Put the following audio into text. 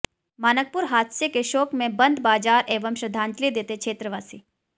मानकपुर हादसे के शोक में बंद बाजार एवं श्रद्धांजलि देते क्षेत्रवासी